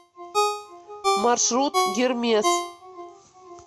маршрут гермес